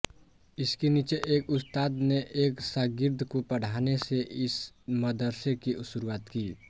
इसके नीचे एक उस्ताद ने एक शागिर्द को पढ़ाने से इस मदरसे की शुरूआत की